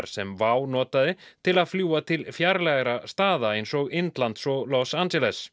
sem WOW notaði til að fljúga til fjarlægra staða eins og Indlands og Los Angeles